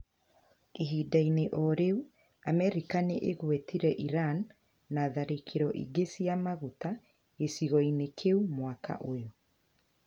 Ihinda-inĩ o rĩu, Amerika nĩ ĩgwetire Iran na tharĩkĩro ingĩ cia maguta gĩcigo-inĩ kĩu mwaka ũyũ,